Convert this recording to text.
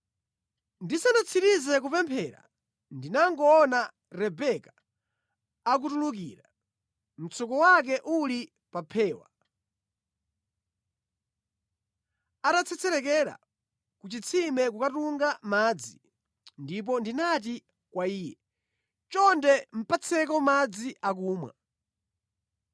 “Ndisanatsirize kupemphera, ndinangoona Rebeka akutulukira mtsuko wake uli pa phewa. Anatsetserekera ku chitsime kukatunga madzi ndipo ndinati kwa iye, ‘Chonde patseko madzi akumwa.’